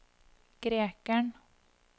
grekeren